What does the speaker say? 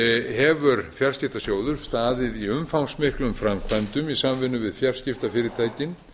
hefur fjarskiptasjóður staðið í umfangsmiklum framkvæmdum í samvinnu við fjarskiptafyrirtækin